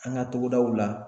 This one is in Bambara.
An ka togodaw la.